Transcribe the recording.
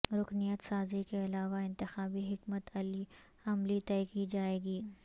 رکنیت سازی کے علاوہ انتخابی حکمت عملی طئے کی جائے گی